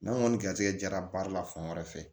N'an kɔni garisɛgɛ jara baara la fan wɛrɛ fɛ